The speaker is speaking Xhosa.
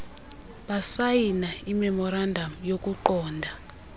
basayina imemorandam yokuqonda